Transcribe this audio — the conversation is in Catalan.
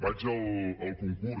vaig al concurs